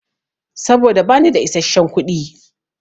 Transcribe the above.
Saboda bani da isasshen kuɗi.